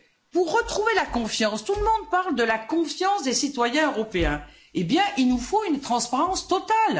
Pour retrouver la confiance tout le monde parle de la confiance des citoyens européens eh bien, il nous faut une transparence totale.